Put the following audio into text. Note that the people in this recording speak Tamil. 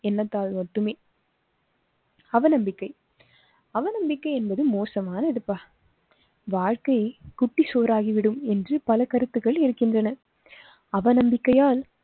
என்னத்தால் மட்டுமே. அவ நம்பிக்கை. அவநம்பிக்கை என்பது மோசமானதுபா. வாழ்க்கை குட்டிச்சுவராகிவிடும் என்று பல கருத்துகள் இருக்கின்றன. அவநம்பிக்கையால்